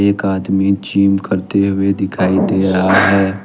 एक आदमी जिम करते हुए दिखाई दे रहा है।